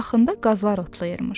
Yaxında qazlar otlayırmış.